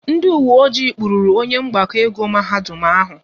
Ndị uwe ọjị kpụrụru onye mgbakọ ego mahadum ụnyaahụ